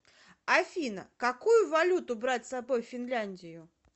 афина какую валюту брать с собой в финляндию